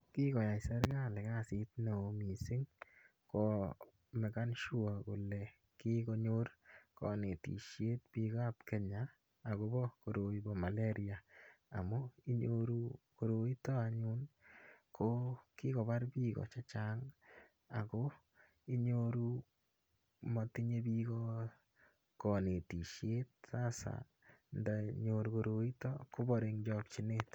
Kikoyai sergali kasit neo mising komakan sure kole kikonyor konetisiet biikab Kenya agobo koroi bo maleria amu inyoru koroito anyun ko kikobar biiko chechang ago inyoru motinye biiko konetisiet, sasa ndanyor koroito kobare eng chokchinet.